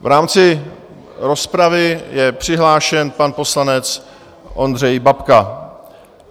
V rámci rozpravy je přihlášen pan poslanec Ondřej Babka.